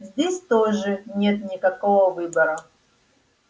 здесь тоже нет никакого выбора